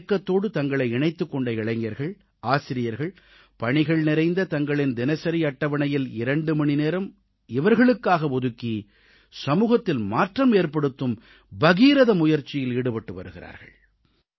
இந்த இயக்கத்தோடு தங்களை இணைத்துக் கொண்ட இளைஞர்கள் ஆசிரியர்கள் பணிகள் நிறைந்த தங்களின் தினசரி அட்டவணையில் 2 மணிநேரம் இவர்களுக்காக ஒதுக்கி சமூகத்தில் மாற்றம் ஏற்படுத்தும் பகீரத முயற்சியில் ஈடுபட்டு வருகிறார்கள்